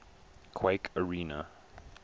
quake arena